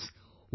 Friends,